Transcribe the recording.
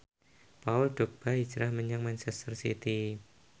Paul Dogba hijrah menyang manchester city